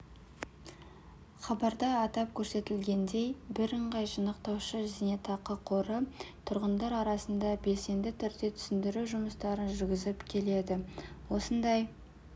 хабарда атап көрсетілгендей бірыңғай жинақтаушы зейнетақы қоры тұрғындар арасында белсенді түрде түсіндіру жұмыстарын жүргізіп келеді осындай